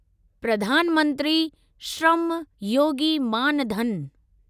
Pradhan Mantri Shram Yogi Maan Dhan